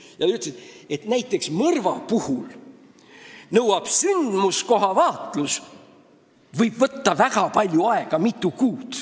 Tema ütles, et näiteks mõrva puhul võib sündmuskoha vaatlus võtta väga palju aega – mitu kuud.